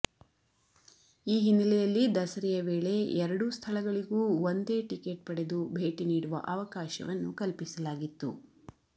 ಈ ಹಿನ್ನೆಲೆ ಯಲ್ಲಿ ದಸರೆಯ ವೇಳೆ ಎರಡೂ ಸ್ಥಳಗಳಿಗೂ ಒಂದೇ ಟಿಕೆಟ್ ಪಡೆದು ಭೇಟಿ ನೀಡುವ ಅವಕಾಶವನ್ನು ಕಲ್ಪಿಸಲಾಗಿತ್ತು